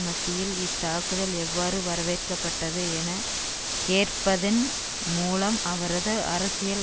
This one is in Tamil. மத்தியில் இத்தாக்குதல் எவ்வாறு வரவேற்கப்பட்டது என கேட்பதன் மூலம் அவரது அரசியல்